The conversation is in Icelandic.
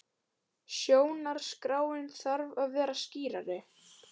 Stjórnarskráin þarf að vera skýrari